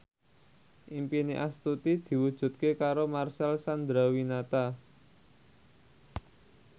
impine Astuti diwujudke karo Marcel Chandrawinata